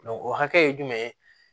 o hakɛ